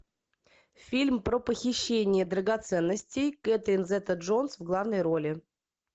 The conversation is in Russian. фильм про похищение драгоценностей кэтрин зета джонс в главной роли